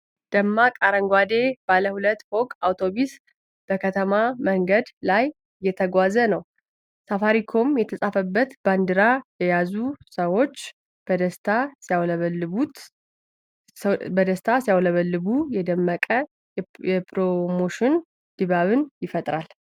ደማቅ አረንጓዴ ባለ-ሁለት ፎቅ አውቶቡስ በከተማ መንገድ ላይ እየተጓዘ ነው። ሰፋሪኮም የተጻፈበት ባንዲራ የያዙ ሰዎች በደስታ ሲያውለበልቡ፣ የደመቀ የፕሮሞሽን ድባብ ይፈጥራል።